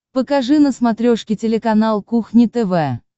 покажи на смотрешке телеканал кухня тв